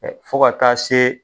Ɛ fo ka taa se